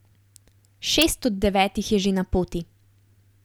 Šest od devetih je že na poti.